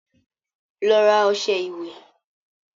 Lọ rà ọṣẹ ìwẹ̀